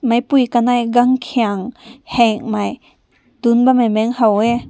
meh pui kanai gan kein heng mai tu bam meh ha weh.